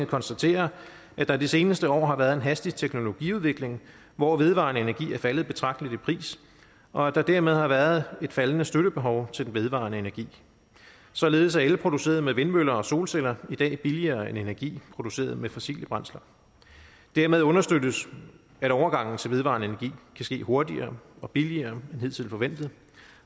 konstaterer at der de seneste par år har været en hastig teknologiudvikling hvor vedvarende energi er faldet betragteligt i pris og at der dermed har været et faldende støttebehov til den vedvarende energi således er el produceret med vindmøller og solceller i dag billigere end energi produceret med fossile brændsler dermed understøttes at overgangen til vedvarende energi kan ske hurtigere og billigere end hidtil forventet